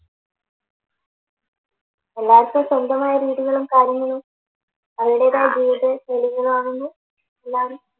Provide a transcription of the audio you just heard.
എല്ലാർക്കും സ്വന്തമായൊരു വീടുകളും കാര്യങ്ങളും അതിൻ്റെതായ ജീവിത ശൈലികളും ആവുന്നു എല്ലാരും